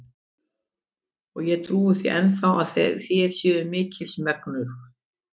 Og ég trúi því enn þá, að þér séuð mikils megnugur.